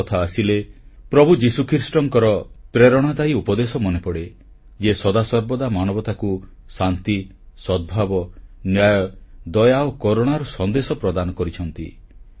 Easter କଥା ଆସିଲେ ପ୍ରଭୁ ଯୀଶୁଖ୍ରୀଷ୍ଟଙ୍କର ପ୍ରେରଣାଦାୟୀ ଉପଦେଶ ମନେପଡ଼େ ଯିଏ ସଦାସର୍ବଦା ମାନବତାକୁ ଶାନ୍ତି ସଦ୍ଭାବ ନ୍ୟାୟ ଦୟା ଓ କରୁଣାର ସନ୍ଦେଶ ପ୍ରଦାନ କରିଛନ୍ତି